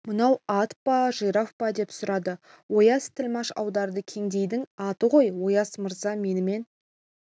мынау ат па жираф па деп сұрады ояз тілмаш аударды кедейдің аты ғой ояз мырза менімен